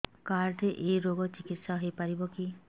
card ରେ ଏଇ ରୋଗ ପାଇଁ ଚିକିତ୍ସା ହେଇପାରିବ କି